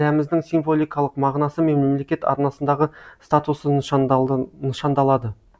рәміздің символикалық мағынасы мен мемлекет арнасындағы статусы нышандалады